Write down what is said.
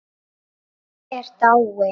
Pabbi er dáinn